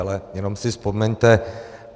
Ale jenom si vzpomeňte.